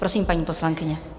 Prosím, paní poslankyně.